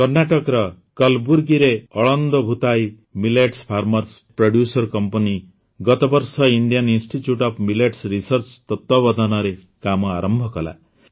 କର୍ଣ୍ଣାଟକର କଲବୁର୍ଗୀରେ Aland Bhutai Millets Farmers Producers Company ଗତ ବର୍ଷ Indian Institute of Millets Research ତତ୍ତ୍ବାବଧାନରେ କାମ ଆରମ୍ଭ କଲା